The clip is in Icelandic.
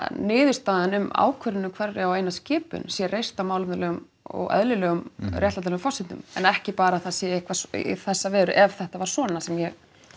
niðurstaðan um ákvörðun um hverja og eina skipun sé reist á málefnalegum og eðlilegum réttlætanlegum forsendum en ekki bara að það sé eitthvað svona í þessa veru ef þetta var svona sem ég